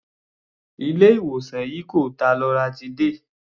Ilé ìwòsàn yìí kò ta loratiday.